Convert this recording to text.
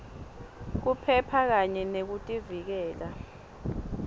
kuphepha kanye nekuvikeleka